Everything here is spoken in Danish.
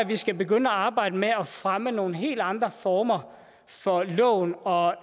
vi skal begynde at arbejde med at fremme nogle helt andre former for lån og